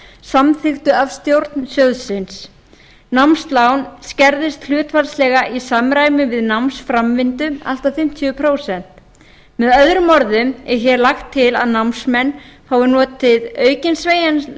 samþykktu af stjórn sjóðsins námslán skerðist hlutfallslega í samræmi við námsframvindu allt að fimmtíu prósent með öðrum orðum er lagt til að námsmenn fái notið aukins